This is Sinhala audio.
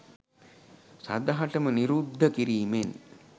සදහටම නිරුද්ධ කිරීමෙන්